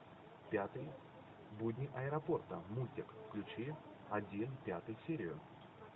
пятый будни аэропорта мультик включи один пятую серию